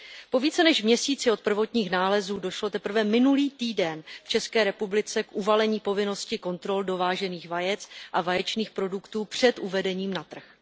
Po více než měsíci od prvotních nálezů došlo teprve minulý týden v České republice k uvalení povinnosti kontrol dovážených vajec a vaječných produktů před uvedením na trh.